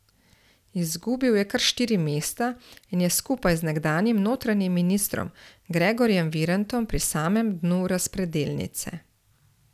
Izgubil je kar štiri mesta in je skupaj z nekdanjim notranjim ministrom Gregorjem Virantom pri samem dnu razpredelnice.